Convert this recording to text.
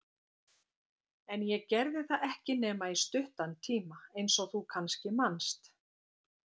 En ég gerði það ekki nema í stuttan tíma, eins og þú kannski manst.